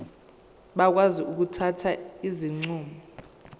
bakwazi ukuthatha izinqumo